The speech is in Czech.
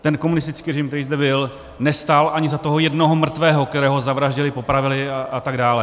Ten komunistický režim, který zde byl, nestál ani za toho jednoho mrtvého, kterého zavraždili, popravili a tak dále.